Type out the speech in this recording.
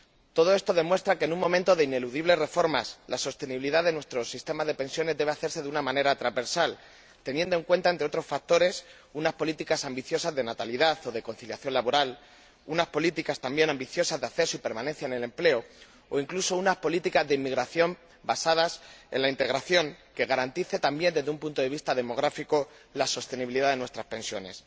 Todo esto demuestra que, en un momento de ineludibles reformas, la sostenibilidad de nuestros sistemas de pensiones debe hacerse de una manera transversal, teniendo en cuenta, entre otros factores, unas políticas ambiciosas de natalidad o de conciliación laboral, unas políticas también ambiciosas de acceso y permanencia en el empleo, o incluso, unas políticas de inmigración basadas en la integración, que garanticen también, desde un punto de vista demográfico, la sostenibilidad de nuestras pensiones.